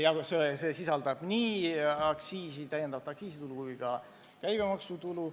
See sisaldab nii täiendavat aktsiisitulu kui ka käibemaksutulu.